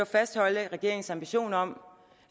fastholde regeringens ambition om